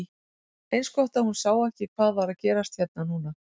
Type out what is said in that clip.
Eins gott að hún sá ekki hvað var að gerast hérna núna!